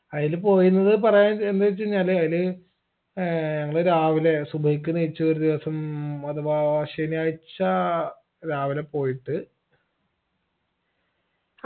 അയിൽ പോയിന്നത് പറയാൻ ന്ത് വെച്ചെയ്‌നാല് അയില് ഏർ ഞങ്ങള് രാവിലെ സുബ്ഹിക്ക് നെയ്ച്ചൂ ഒരു ദിവസം അഥവാ ശെനിയാഴ്ച രാവിലെ പോയിട്ട്